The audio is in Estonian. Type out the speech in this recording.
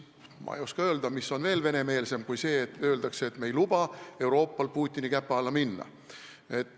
Ma ei oska öelda, mis on vähem venemeelne sellest, kui öeldakse, et me ei luba Euroopal Putini käpa alla minna.